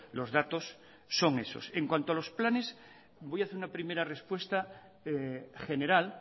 los datos son esos en cuanto a los planes voy a hacer una primera respuesta general